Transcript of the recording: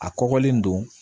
A kɔgɔlen don